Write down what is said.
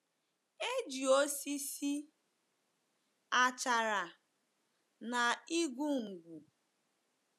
E ji osisi, achara, na igu nkwụ wuo ụlọ ahụ.